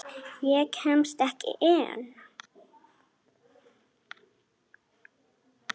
Ég kemst ekki inn.